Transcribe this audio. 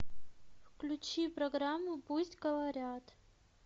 включи программу пусть говорят